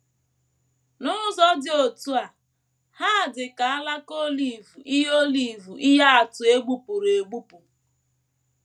N’ụzọ dị otú a, ha dị ka alaka olive ihe olive ihe atụ e gbupụrụ egbupụ.